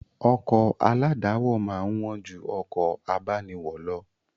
Ọkọ̀ aládàáwọ̀ máa ń wán ju ọkọ̀ abániwọ̀ lọ